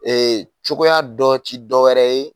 cogoya dɔ ti dɔwɛrɛ ye.